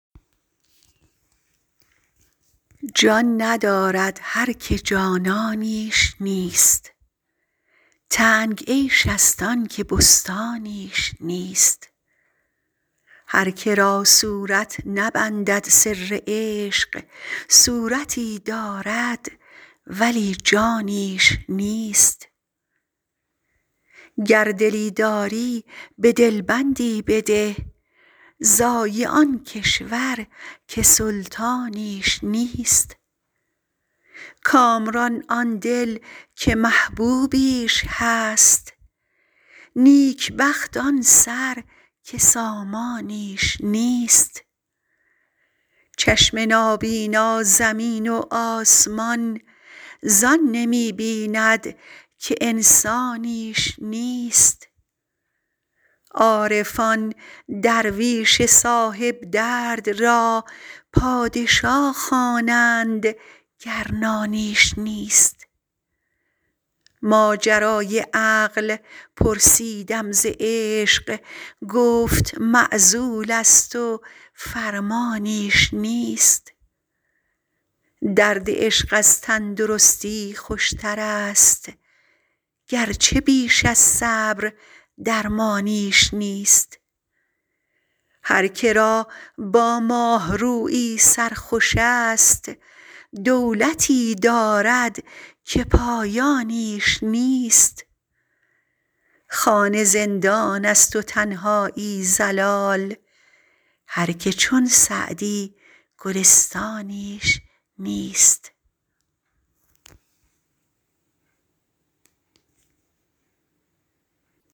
جان ندارد هر که جانانیش نیست تنگ عیش ست آن که بستانیش نیست هر که را صورت نبندد سر عشق صورتی دارد ولی جانیش نیست گر دلی داری به دل بندی بده ضایع آن کشور که سلطانیش نیست کامران آن دل که محبوبیش هست نیک بخت آن سر که سامانیش نیست چشم نابینا زمین و آسمان زان نمی بیند که انسانیش نیست عارفان درویش صاحب درد را پادشا خوانند گر نانیش نیست ماجرای عقل پرسیدم ز عشق گفت معزول ست و فرمانیش نیست درد عشق از تن درستی خوش ترست گرچه بیش از صبر درمانیش نیست هر که را با ماه رویی سر خوش ست دولتی دارد که پایانیش نیست خانه زندان ست و تنهایی ضلال هر که چون سعدی گلستانیش نیست